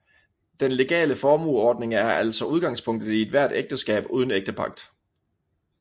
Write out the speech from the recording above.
Den legale formueordning er altså udgangspunktet i ethvert ægteskab uden ægtepagt